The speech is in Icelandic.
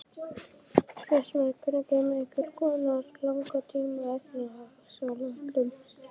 Fréttamaður: Hvenær kemur einhvers konar langtíma efnahagsáætlun?